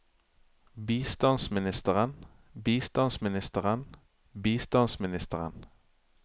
bistandsministeren bistandsministeren bistandsministeren